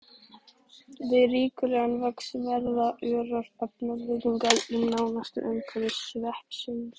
Við ríkulegan vöxt verða örar efnabreytingar í nánasta umhverfi sveppsins.